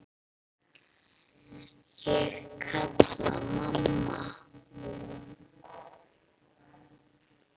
Ég kalla: Mamma!